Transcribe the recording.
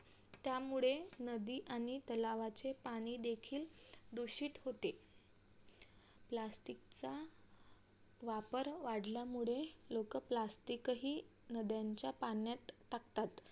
त्यामुळे नदी आणि तलावाचे पाणी देखील दूषित होते plastic चा वापर वाढल्यामुळे लोक plastic हि नद्यांच्या पाण्यात टाकतात.